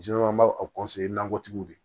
an b'a nakɔtigiw de